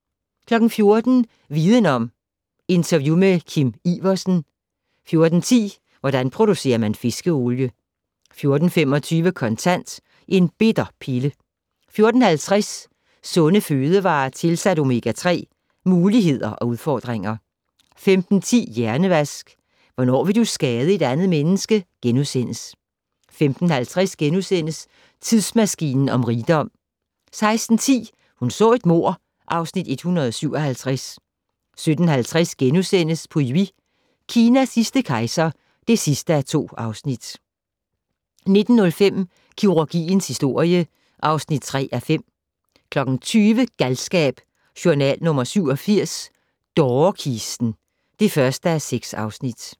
14:00: Viden Om: Interview med Kim Iversen 14:10: Hvordan producerer man fiskeolie? 14:25: Kontant: En bitter pille 14:50: Sunde fødevarer tilsat omega-3 - Muligheder og udfordringer 15:10: Hjernevask - Hvornår vil du skade et andet menneske? * 15:50: Tidsmaskinen om rigdom * 16:10: Hun så et mord (Afs. 157) 17:50: Pu Yi - Kinas sidste kejser (2:2)* 19:05: Kirurgiens historie (3:5) 20:00: Galskab: Journal nr. 87 - Dårekisten (1:6)